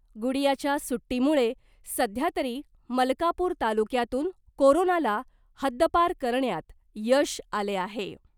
गुडीयाच्या सुट्टीमुळे सध्या तरी मलकापूर तालुक्यातून कोरोनाला हद्दपार करण्यात यश आले आहे .